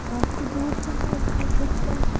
काफी दूर से है इसलिए कुछ--